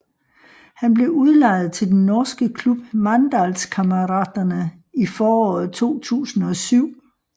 Han blev udlejet til den norske klub Mandalskameratene i foråret 2007